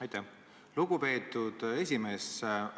Aitäh, lugupeetud esimees!